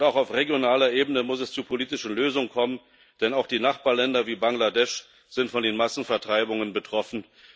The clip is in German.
Auch auf regionaler Ebene muss es zu politischen Lösungen kommen, denn auch die Nachbarländer wie Bangladesch sind von den Massenvertreibungen betroffen.